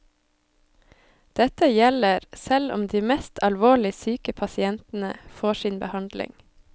Dette gjelder selv om de mest alvorlig syke pasientene får sin behandling.